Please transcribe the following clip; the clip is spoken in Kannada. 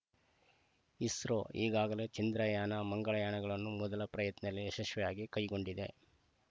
ಇಸ್ರೋ ಈಗಾಗಲೇ ಚಂದ್ರಯಾನ ಮಂಗಳಯಾನಗಳನ್ನು ಮೊದಲ ಪ್ರಯತ್ನಲೆ ಯಶಸ್ವಿಯಾಗಿ ಕೈಗೊಂಡಿದೆ